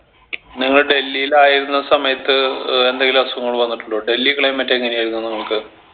നിങ്ങൾ ഡൽഹിയിലായിരുന്ന സമയത്ത് ഏർ എന്തെങ്കിലും അസുഖങ്ങൾ വന്നിട്ടുണ്ടോ ഡൽഹി climate എങ്ങനെ ആയിരുന്നു നിങ്ങൾക്ക്